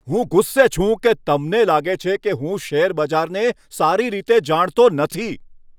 હું ગુસ્સે છું કે તમને લાગે છે કે હું શેરબજારને સારી રીતે જાણતો નથી.